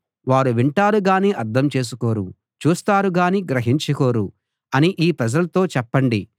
వారు వింటారు గాని అర్థం చేసుకోరు చూస్తారు కానీ గ్రహించుకోరు అని ఈ ప్రజలతో చెప్పండి